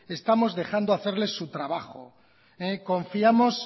estamos dejando hacerles su trabajo confiamos